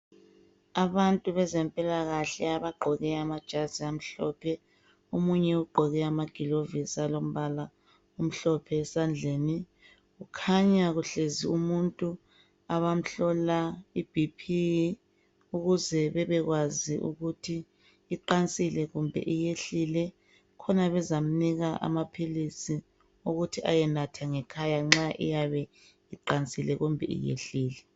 Abantu abezempilakahle bagqoke amajazi amhlophe, omunye ugqoke amagilovisi alombala omhlophe esandleni. Kukhanya kuhlezi umuntu abamhlola iBP ukuze bebekwazi ukuthi iqansile kumbe iyehlile khona bezamnika amaphilisi ukuthi ayenatha ngekhaya nxa iyabe iqansile kumbe iyehlile.